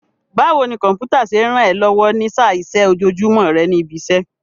Báwo ni Kọ̀m̀pútà ṣe ń ràn ẹ́ lọ́wọ́ ní í sá iṣẹ́ ojoojúmọ́ rẹ ní ibi iṣẹ́?